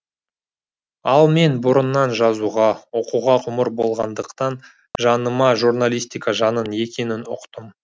ал мен бұрыннан жазуға оқуға болғандықтан жаныма журналистика жанын екенін ұқтым